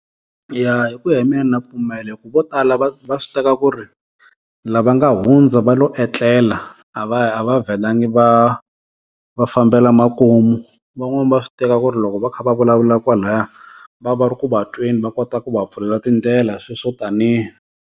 Ya hi ku ya hi mehe na pfumela hi ku vo tala va va swi teka ku ri lava nga hundza va lo etlela a va a va vhelangi va va fambela makumu van'wani va swi teka ku ri loko va kha va vulavula kwalaya va va ri ku va tweni va kota ku va pfulela tindlela sweswo taniya.